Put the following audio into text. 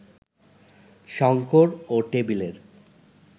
শঙ্কর ও টেবিলের